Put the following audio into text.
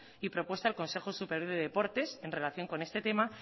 y propuesta al consejo superior de deportes en relación con este tema